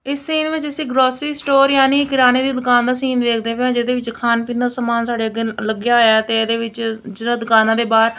ਇਸ ਸੀਨ ਵਿੱਚ ਅਸੀਂ ਗਰੋਸਰੀ ਸਟੋਰ ਯਾਨੀ ਕਿਰਾਣੇ ਦੀ ਦੁਕਾਨ ਦਾ ਸੀਨ ਦੇਖਦੇ ਪਏ ਜਿਹਦੇ ਵਿੱਚ ਖਾਣ ਪੀਣ ਦਾ ਸਮਾਨ ਸਾਡੇ ਅੱਗੇ ਲੱਗਿਆ ਹੋਇਆ ਤੇ ਇਹਦੇ ਵਿੱਚ ਜਿਹੜਾ ਦੁਕਾਨਾਂ ਦੇ ਬਾਅਦ--